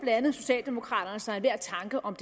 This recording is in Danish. andet socialdemokraterne modsatte sig enhver tanke om